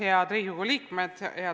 Head Riigikogu liikmed!